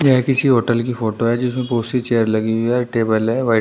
यह किसी होटल की फोटो है जिसमें बहुत सी चेयर लगी हुई है टेबल है वाइट ।